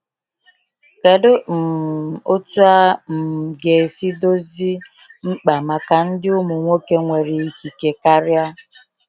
Kedu um otu a um ga esi dozi mkpa maka ndị ụmụ nwoke nwere ikike karịa?